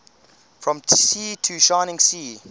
from sea to shining sea